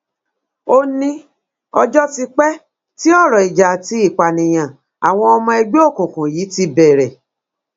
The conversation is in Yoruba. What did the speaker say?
ó ní ọjọ ti pẹ tí ọrọ ìjà àti ìpànìyàn àwọn ọmọ ẹgbẹ òkùnkùn yìí ti bẹrẹ